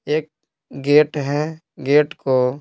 एक गेट है गेट को--